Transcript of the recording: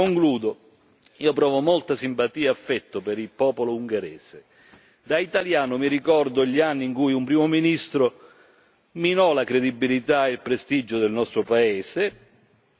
da italiano mi ricordo gli anni in cui un primo ministro minò la credibilità e il prestigio del nostro paese e io penso che lei non deve far altrettanto, signor Orbán.